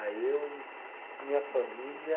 Aí eu, minha família...